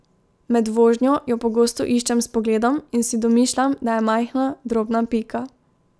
Med vožnjo jo pogosto iščem s pogledom in si domišljam, da je majhna, drobna pika.